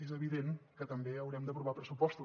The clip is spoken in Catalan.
és evident que també haurem d’aprovar pressupostos